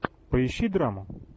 поищи драму